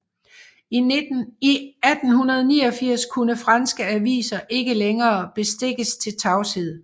I 1889 kunne franske aviser ikke længere bestikkes til tavshed